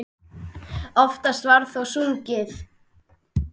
Oftast var þó sungið.